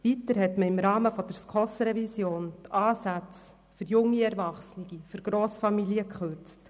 Weiter wurden im Rahmen der SKOS-Revision die Ansätze für junge Erwachsene und für Grossfamilien gekürzt.